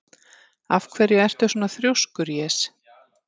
Af hverju ertu svona þrjóskur, Jes?